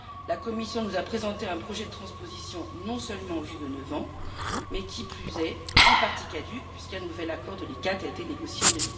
La Commission nous a présenté un projet de transposition, non seulement vieux de neuf ans, mais qui plus est, en partie caduc, puisqu'un nouvel accord de la CICTA a été négocié en